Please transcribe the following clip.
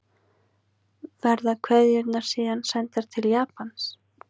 Verða kveðjurnar síðan sendar til Japans